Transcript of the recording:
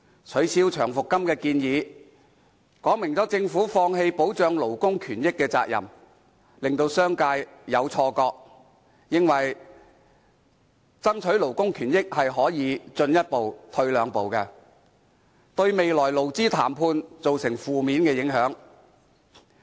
取消長期服務金的建議，說明政府放棄保障勞工權益的責任，令商界有錯覺以為爭取勞工權益可以"進一步、退兩步"，對日後的勞資談判造成負面影響。